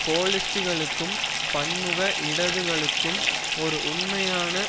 கோலிஸ்ட்டுகளுக்கும் பன்முக இடதுகளுக்கும் ஒரு உண்மையான